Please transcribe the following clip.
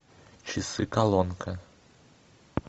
часы колонка